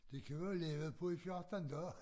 Det kan vi jo havde levet på i 14 dage